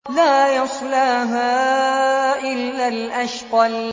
لَا يَصْلَاهَا إِلَّا الْأَشْقَى